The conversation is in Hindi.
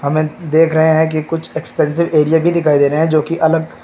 में देख रहे हैं कि कुछ एक्सपेंसिव एरिया भी दिख रहे हैं जो की अलग--